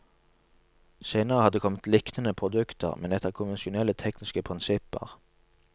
Senere har det kommet liknende produkter, men etter konvensjonelle tekniske prinsipper.